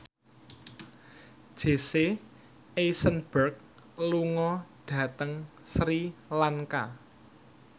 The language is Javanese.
Jesse Eisenberg lunga dhateng Sri Lanka